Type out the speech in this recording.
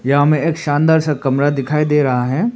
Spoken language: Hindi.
यहां में एक शानदार सा कमरा दिखाई दे रहा है।